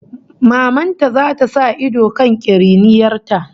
Maman ta zata sa ido kan kiriniyar ta